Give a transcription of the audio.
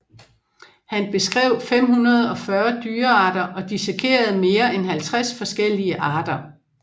Han beskrev 540 dyrearter og dissekerede mere end 50 forskellige arter